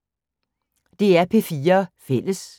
DR P4 Fælles